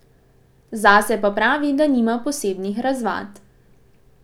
Zase pa pravi, da nima posebnih razvad.